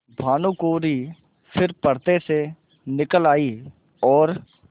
भानुकुँवरि फिर पर्दे से निकल आयी और